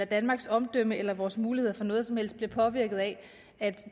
danmarks omdømme eller vores muligheder for noget som helst bliver påvirket af at